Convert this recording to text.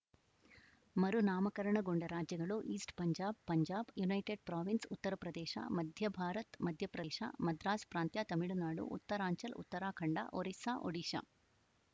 ಮರುನಾಮಕರಣಗೊಂಡ ರಾಜ್ಯಗಳು East Punjab Punjab United Province Uttar Pradesh Madhya Bharat Madhya Pradesh Madras ಪ್ರಾಂತ್ಯತಮಿಳುನಾಡು ಉತ್ತರಾಂಚಲ್‌ಉತ್ತರಾಖಂಡ ಒರಿಸ್ಸಾಒಡಿಶಾ